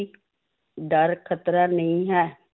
ਡਰ ਖ਼ਤਰਾ ਨਹੀਂ ਹੈ